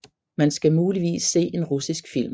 Man skal muligvis se en russisk film